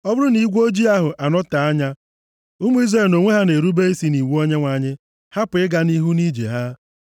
Ọ bụrụ na igwe ojii ahụ anọọtee anya, ụmụ Izrel nʼonwe ha na-erube isi nʼiwu Onyenwe anyị hapụ ịga nʼihu nʼije ha.